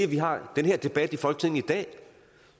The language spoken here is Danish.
vi har den her debat i folketinget i dag